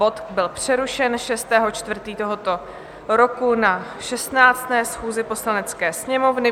Bod byl přerušen 6. 4. tohoto roku na 16. schůzi Poslanecké sněmovny.